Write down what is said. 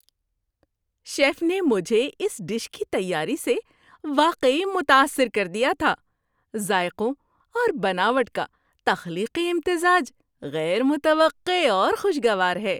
Chef نے مجھے اس ڈش کی تیاری سے واقعی متاثر کر دیا تھا؛ ذائقوں اور بناوٹ کا تخلیقی امتزاج غیر متوقع اور خوش گوار ہے۔